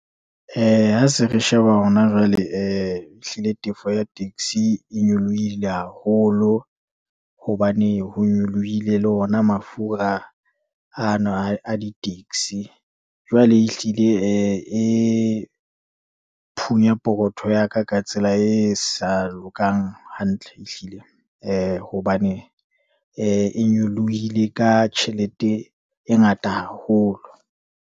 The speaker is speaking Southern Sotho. Ha se re sheba hona jwale, ehlile tefo ya taxi e nyolohile haholo, hobane ho nyolohile le ona mafura ano a di-taxi. Jwale ehlile e phunye pokotho ya ka, ka tsela e sa lokang hantle ehlile, hobane e nyolohile ka tjhelete e ngata haholo.